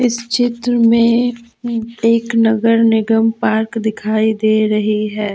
इस चित्र में एक नगर निगम पार्क दिखाई दे रही है।